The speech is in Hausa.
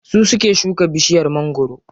Su suke shuka bishiyar mangwaro.